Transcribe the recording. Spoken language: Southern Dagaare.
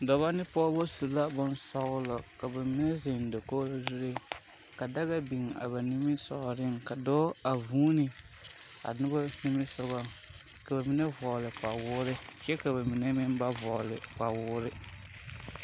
Dɔbɔ ne pɔgebɔ su la bonɔglɔ, ka ba mine seŋ dakogiri suŋ, ka daga biŋ a ba niŋesogɔ, ka dɔɔ a vuuni a noba niŋesogoŋ, ka ba mine vɔɔle kpa woore kyɛ ka mine ba vɔɔle kpawoore.